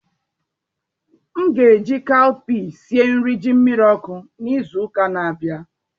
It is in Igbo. M ga-eji Kaụpịe sie nri ji miri oku n'izu ụka na-abịa